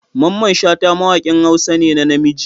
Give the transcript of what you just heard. Mamman shata mawakin hausa ne na namiji.